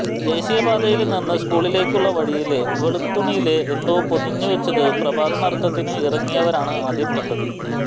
ദേശീയപാതയില് നിന്ന് സ്കൂളിലേക്കുള്ള വഴിയില് വെള്ളത്തുണിയില് എന്തോ പൊതിഞ്ഞുവെച്ചത് പ്രഭാത നടത്തത്തിന് ഇറങ്ങിയവരാണ് ആദ്യം കണ്ടത്